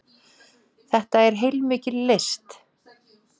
Þetta er heilmikil list.